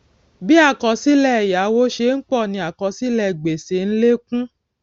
bí àkọsílè èyáwó ṣe n pò ni àkọsílè gbèsè n lékún